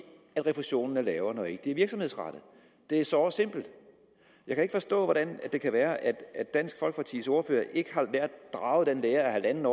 refusionen er lavere når ikke det er virksomhedsrettet det er såre simpelt jeg kan ikke forstå hvordan det kan være at dansk folkepartis ordfører ikke har draget den lære af en en